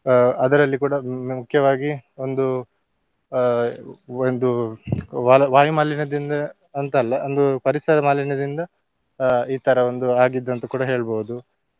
ಅಹ್ ಅದರಲ್ಲಿ ಕೂಡ ಮುಖ್ಯವಾಗಿ ಒಂದು ಆ ಒಂದು ಅಹ್ ಒಂದು ವಾ~ ವಾಯುಮಾಲಿನ್ಯದಿಂದ ಅಂತ ಅಲ್ಲ ಒಂದು ಪರಿಸರ ಮಾಲಿನ್ಯದಿಂದ ಅಹ್ ಈ ತರ ಒಂದು ಆಗಿದ್ದುಂತ ಕೂಡ ಹೇಳ್ಬೋದು.